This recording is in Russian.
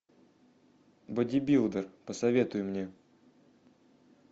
бодибилдер посоветуй мне